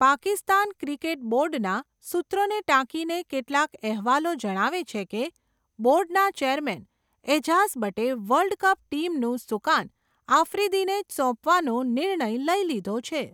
Pakistan cricket બોર્ડના, સૂત્રોને ટાંકીને, કેટલાક અહેવાલો જણાવે છે કે, બોર્ડના ચેરમેન, એજાઝ બટે, વર્લ્ડ કપ ટીમનું, સુકાન, આફ્રિદીને જ સોંપવાનો, નિર્ણય લઇ લીધો છે.